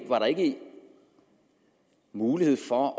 var der ikke mulighed for